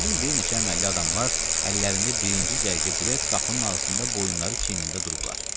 Gördüm bir neçə əməlli adamlar əllərində birinci cərgə bilet qapının ağzında, boyunları çiynində durublar.